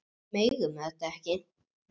Við megum þetta ekki!